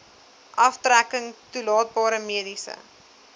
aftrekking toelaatbare mediese